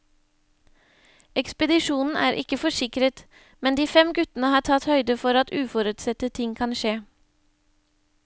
Ekspedisjonen er ikke forsikret, men de fem guttene har tatt høyde for at uforutsette ting kan skje.